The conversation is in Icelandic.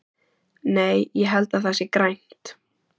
Nei, ég held að það sé grænt.